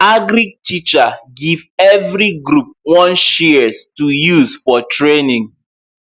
agric teacher give every group one shears to use for training